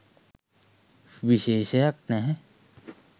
විශේෂයක් නැහැ.